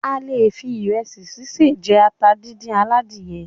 A lè fi ìrẹsì sise jẹ ata díndín aladìyẹ.